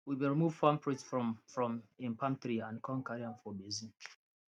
we bin remove palm fruits from from im palm tree and con carry am for basin